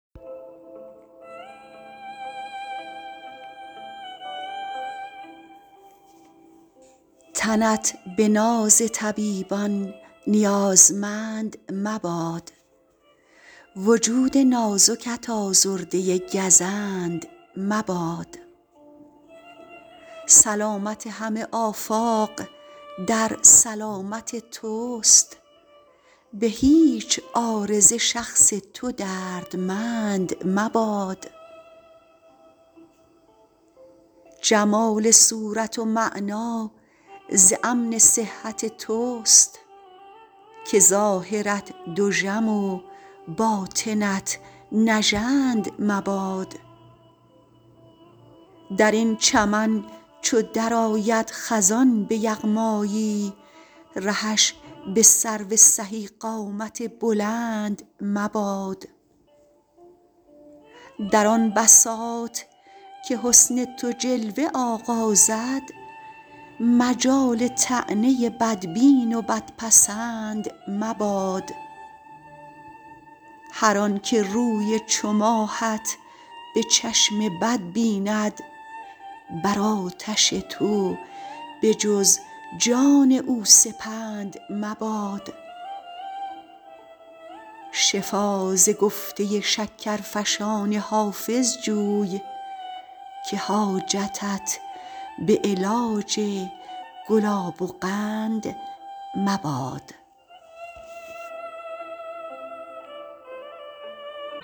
تنت به ناز طبیبان نیازمند مباد وجود نازکت آزرده گزند مباد سلامت همه آفاق در سلامت توست به هیچ عارضه شخص تو دردمند مباد جمال صورت و معنی ز امن صحت توست که ظاهرت دژم و باطنت نژند مباد در این چمن چو درآید خزان به یغمایی رهش به سرو سهی قامت بلند مباد در آن بساط که حسن تو جلوه آغازد مجال طعنه بدبین و بدپسند مباد هر آن که روی چو ماهت به چشم بد بیند بر آتش تو به جز جان او سپند مباد شفا ز گفته شکرفشان حافظ جوی که حاجتت به علاج گلاب و قند مباد